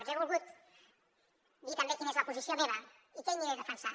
jo he volgut dir també quina és la posició meva i què hi aniré a defensar